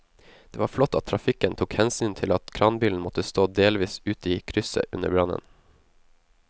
Det var flott at trafikken tok hensyn til at kranbilen måtte stå delvis ute i krysset under brannen.